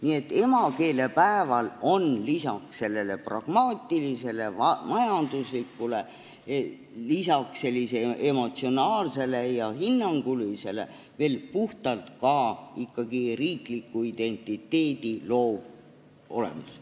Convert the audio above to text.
Nii et emakeelepäeval on lisaks pragmaatilisele ja majanduslikule ning emotsionaalsele ja hinnangulisele küljele ikkagi ka puhtalt riiklikku identiteeti loov olemus.